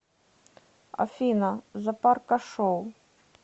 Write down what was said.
афина запарка шоу